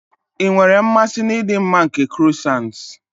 Ị nwere mmasị na ịdị mma nke croissants.